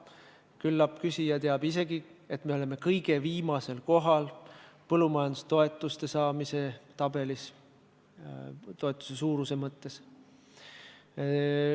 Küllap küsija teab isegi, et me oleme kõige viimasel kohal põllumajandustoetuste saamise tabelis – toetuse suuruse mõttes.